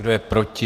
Kdo je proti?